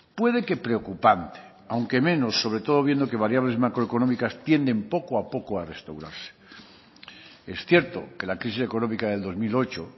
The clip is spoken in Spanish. puede que preocupante aunque menos sobre todo viendo que variables macroeconómicas tienden poco a poco a restaurarse es cierto que la crisis económica del dos mil ocho